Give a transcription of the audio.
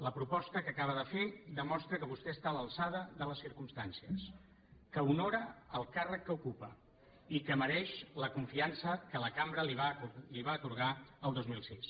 la proposta que acaba de fer demostra que vostè està a l’alçada de les circumstàncies que honora el càrrec que ocupa i que mereix la confiança que la cambra li va atorgar el dos mil sis